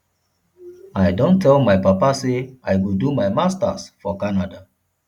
i don tell my papa say i go do my masters for canada